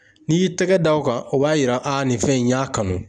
N'i y'i tɛgɛ da o kan, o b'a yira a nin fɛn in n y'a kanu.